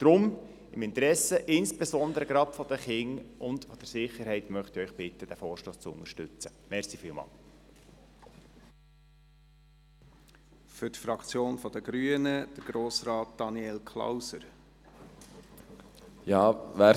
Deshalb bitte ich Sie im Interesse der Sicherheit und insbesondere der Kinder, diesen Vorstoss zu unterstützen.